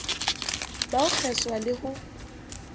ba ho kgeswa le ho